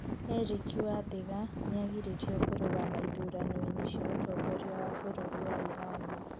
Erick wathiga nĩ agirĩtio kũrũgama ithurano-inĩ cia ũtongoria wa bũrũri wa Iran